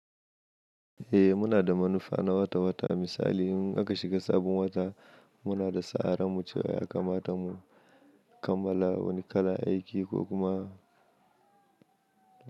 Eh muna da manufa na wata wata misali in aka shiga sabin wata muna da sa'a rarmu cewa ya kamata mu kammala wani kalan aiki ko kuma.